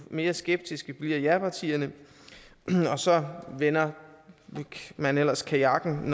mere skeptiske bliver japartierne og så vender man ellers kajakken når